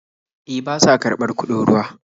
E, ba sa karɓar kuɗin ruwa.